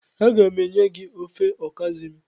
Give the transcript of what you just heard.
Aga m enye gi ofe okazi m.